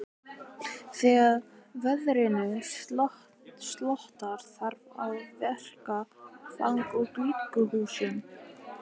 Þegar veðrinu slotar þarf að verka þang úr glugghúsum.